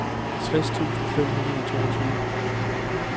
tres tusind fem hundrede og toogtyve